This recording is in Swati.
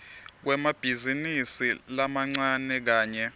kwemabhizinisi lamancane kanye